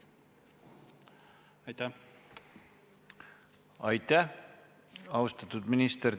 Aitäh, austatud minister!